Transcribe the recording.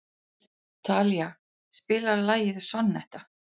Talía, spilaðu lagið „Sonnetta“.